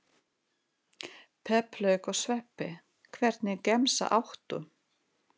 Pepp lauk og sveppi Hvernig gemsa áttu?